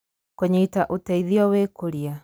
Kũnyita Ũteithio Wĩkũria: